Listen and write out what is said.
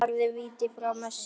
Varði víti frá Messi.